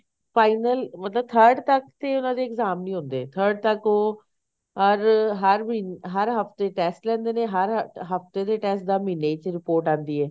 final ਮਤਲਬ third ਤੱਕ ਤੇ ਇਹਨਾ ਦੇ exam ਨੀ ਹੁੰਦੇ third ਤੱਕ ਉਹ ਅਰ ਹਰ ਮਹੀਨੇ ਹਰ ਹਫਤੇ test ਲੈਂਦੇ ਨੇ ਹਰ ਹਫਤੇ ਦੇ test ਦਾ ਮਹੀਨੇ ਚ report ਆਂਦੀ ਹੈ